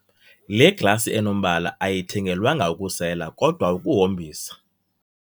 Le glasi enombala ayithengelwanga ukusela kodwa ukuhombisa.